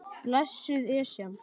Blessuð Esjan.